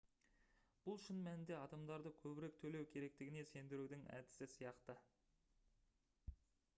бұл шын мәнінде адамдарды көбірек төлеу керектігіне сендірудің әдісі сияқты